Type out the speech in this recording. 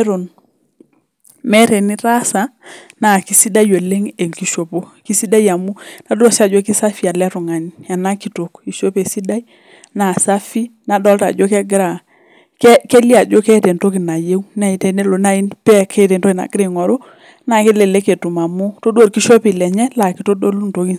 Eton meeta wnitaasa naa kaisidai oleng enkishopo edol Ajo kisafi ena kitok eishope esidai naa safi edolita Ajo keeta entoki nayieu naa tenelo meeta meet entoki nayieu naa kelelek naaji etum amu todua orkishopie lenye naa kitodolu ntokitin sidain